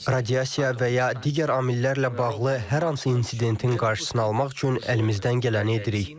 Radiasiya və ya digər amillərlə bağlı hər hansı insidentin qarşısını almaq üçün əlimizdən gələni edirik.